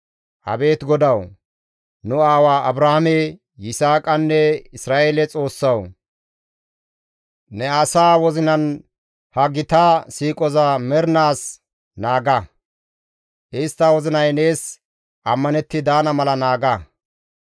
Abeet GODAWU! Nu aawa Abrahaame, Yisaaqanne Isra7eele Xoossawu! Ne asaa wozinan ha gita siiqoza mernaas naaga; istta wozinay nees ammanetti daana mala naaga.